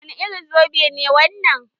Wani irin zobe ne wannan?